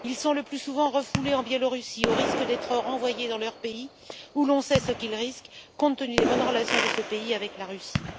Ils sont le plus souvent refoulés en Biélorussie, au risque d'être renvoyés dans leur pays, où l'on sait ce qu'ils risquent, compte tenu des bonnes relations de ce pays avec la Russie.